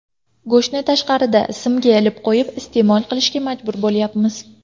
Go‘shtni tashqarida, simga ilib qo‘yib, iste’mol qilishga majbur bo‘lyapmiz.